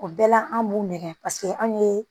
O bɛɛ la an b'u nɛgɛ paseke an ye